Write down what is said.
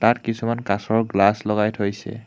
তাত কিছুমান কাঁচৰ গ্লাচ লগাই থৈছে।